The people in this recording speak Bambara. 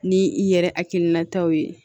Ni i yɛrɛ hakilinataw ye